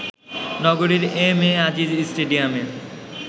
নগরীর M A Aziz স্টেডিয়ামে